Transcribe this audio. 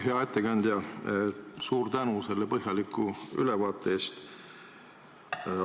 Hea ettekandja, suur tänu selle põhjaliku ülevaate eest!